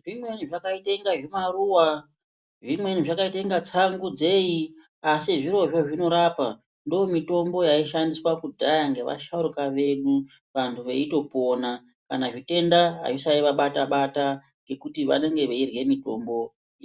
Zvimweni zvakaite kunge zvimaruwa, zvimweni zvakaite kunge tsangu dzei, asi zvirozvo zvinorapa, ndiyo mitombo yaishandiswa kudhaya ngevasharukwa vedu vantu veitopona. Kana zvitenda azvisaivabata-bata ngekuti vanenge veirye mitombo